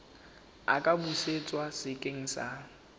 a ka busetswa sekeng sa